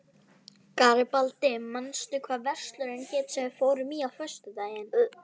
Garibaldi, manstu hvað verslunin hét sem við fórum í á föstudaginn?